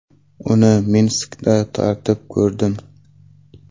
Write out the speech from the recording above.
Uni Minskda tatib ko‘rdim.